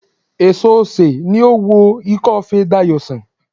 Èso osè ni ó wo ikófe Dayò sàn